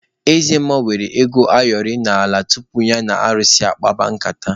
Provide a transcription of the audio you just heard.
Eze mmụọ wụrụ ego ayọrị n'ala tupu ya na alụsị ya akpaba nkata.